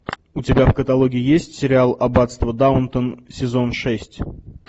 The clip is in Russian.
у тебя в каталоге есть сериал аббатство даунтон сезон шесть